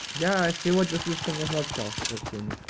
я сегодня слишком много общался со всеми